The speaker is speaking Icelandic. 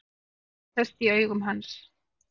Tregi sest í augu hans.